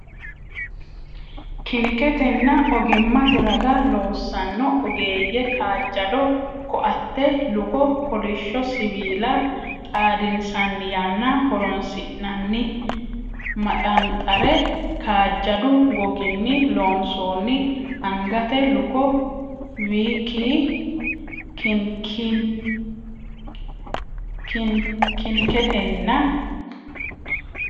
kiniketenna ogimmate raga loossanno ogeeyye kaajjado koatte, luko, kolishsho siwiila xadinsanni yanna horoonsi’nanni maxanxare, kaajjadu goginni loonsoonni angate luko,w k kiniketenna.